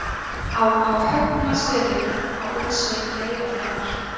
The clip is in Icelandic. á á högnastöðum á útsveit reyðarfjarðar